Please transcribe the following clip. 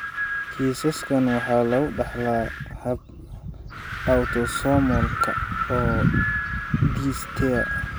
Kiisaskan waxa lagu dhaxlaa hab autosomalka oo dithesa .